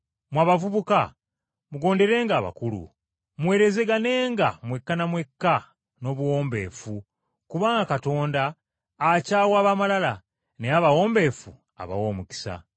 Mmwe abavubuka, mugonderenga abakulu. Muweerezeganenga mwekka na mwekka n’obuwombeefu kubanga “Katonda akyawa ab’amalala naye abawombeefu abawa omukisa.”